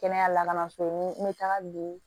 Kɛnɛya lakana so n bɛ taga don